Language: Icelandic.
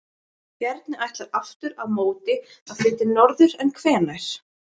Bjarni ætlar aftur á móti að flytja norður, en hvenær?